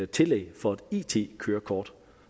tillæg for et it kørekort